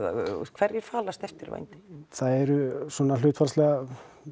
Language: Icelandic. hverjir falast eftir vændi það eru hlutfallslega